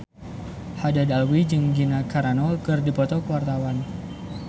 Haddad Alwi jeung Gina Carano keur dipoto ku wartawan